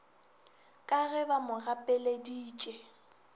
ka ge ba mo gapeleditše